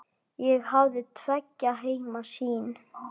Ég hafði tveggja heima sýn.